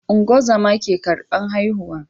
Ungozama ke karbar haihu